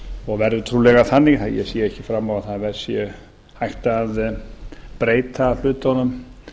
og verður trúlega þannig ég sé ekki fram á að það sé hægt að breyta hlutunum